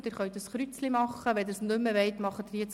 wer keine E-Mails mehr bekommen möchte, macht ein Kreuz.